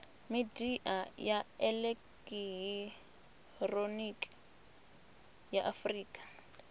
midia ya elekihironiki ya afurika